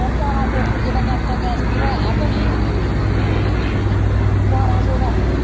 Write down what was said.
ਬਾਰਾ ਸੋ ਰੁਪਈਏ ਦਾ ਕਰਤਾ ਗੈਸ ਭਰਵਾਇਆ ਭੈਣੇ ਕਿ ਬਾਰਾ ਸੋ ਦਾ